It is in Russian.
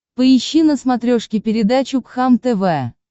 поищи на смотрешке передачу кхлм тв